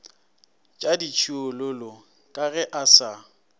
tšaditšhiololo ka ge a sa